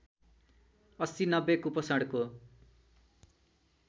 ८० ९० कुपोषणको